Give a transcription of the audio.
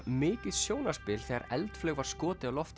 mikið sjónarspil þegar eldflaug var skotið